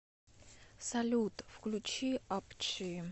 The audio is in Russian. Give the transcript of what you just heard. салют включи ап чи